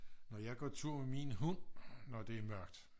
når jeg går tur med min hund når det er mørkt